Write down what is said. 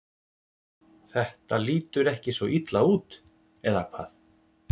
Þetta lítur ekki svo illa út, eða hvað?